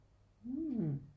Mhm